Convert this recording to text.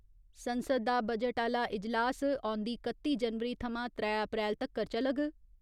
संसद दा बजट आह्‌ला इजलास औंदी कत्ती जनवरी थमां त्रै अप्रैल तक्कर चलग।